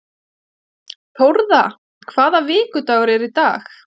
Þórða, hvaða vikudagur er í dag?